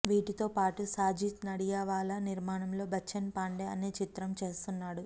వీటితో పాటు సాజిద్ నడియావాలా నిర్మాణంలో బచ్చన్ పాండే అనే చిత్రం చేస్తున్నాడు